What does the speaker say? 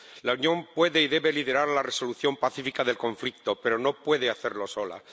La Unión puede y debe liderar la resolución pacífica del conflicto, pero no puede hacerlo sola.